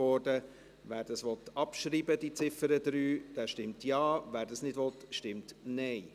Wer die Ziffer 3 abschreiben will, stimmt Ja, wer dies nicht will, stimmt Nein.